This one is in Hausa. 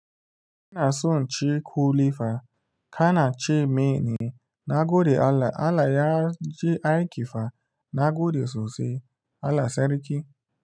Ana son ci ƙuli fa, kana ce meye ne, na gode Allah. Allah ya ji aiki fa na gode sosai Allah sarki.